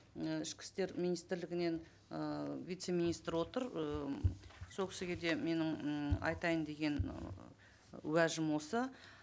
і ішкі істер министрлігінен ыыы вице министр отыр ыыы сол кісіге де менің м айтайын деген уәжім осы